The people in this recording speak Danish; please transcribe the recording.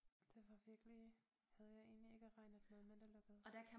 Det var virkelig havde jeg egentlig ikke regnet med men det lykkedes